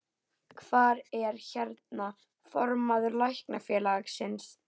Hvar er, hérna, formaður Læknafélagsins?